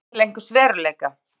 vísaði til einhvers veruleika.